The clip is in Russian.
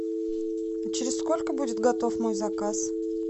через сколько будет готов мой заказ